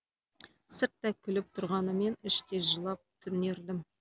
сырттай күліп тұрғанымен іштей жылап түнердім